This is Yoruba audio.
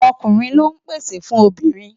Ọkùnrin lọ ń pèsè fún obìnrin.